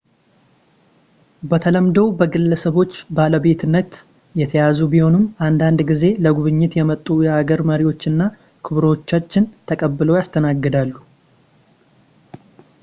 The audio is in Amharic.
በተለምዶው በግለሰቦች ባለቤትነት የተያዙ ቢሆንም አንዳንድ ጊዜ ለጉብኝት የመጡ የሀገር መሪዎችና ክቡራኖችን ተቀብለው ያስተናግዳሉ